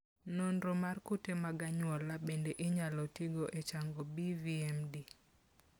Nonro mar kute mag anyuola bende inyalo tigo e chango BVMD.